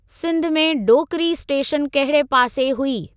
सिंध में डोकिरी स्टेशन कहिड़े पासे हुई?